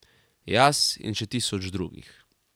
Jaz in še tisoč drugih.